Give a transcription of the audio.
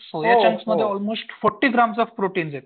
सोया चंक्समध्ये almost forty grams of protein आहेत.